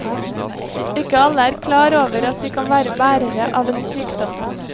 Ikke alle er klar over at de kan være bærere av en sykdom.